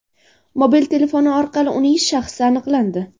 Mobil telefoni orqali uning shaxsi aniqlandi.